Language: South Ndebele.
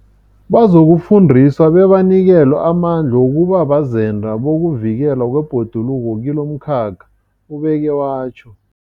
Bazokufundiswa bebanikelwe amandla wokuba bazenda bokuvikelwa kwebhoduluko kilomkhakha, ubeke watjho.